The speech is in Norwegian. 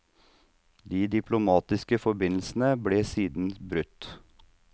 De diplomatiske forbindelsene ble siden brutt.